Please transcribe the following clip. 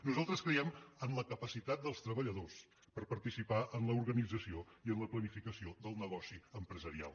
nosaltres creiem en la capacitat dels treballadors per participar en l’organització i en la planificació del negoci empresarial